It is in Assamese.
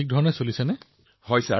এই অনলাইনত পঢ়াপাতি ঠিককৈ হৈছে নে